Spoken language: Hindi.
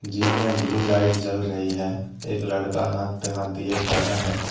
जिम में ब्ल्यू लाइट जल रही है। एक लड़का हाथ पे हाथ दिए खड़ा है।